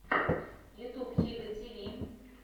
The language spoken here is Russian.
ютьюб хига ти ви